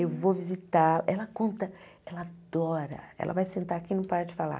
Eu vou visitar, ela conta, ela adora, ela vai sentar aqui e não para de falar.